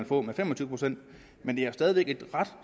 på fem og tyve procent men det er stadig væk et ret